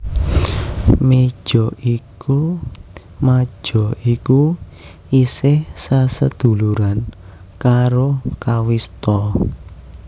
Maja iku isih saseduluran karo kawista